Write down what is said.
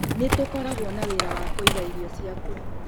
Nĩ tũkoragwo na wĩra wa kũiga irio ciaku.